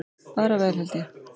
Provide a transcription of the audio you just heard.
Bara vel held ég.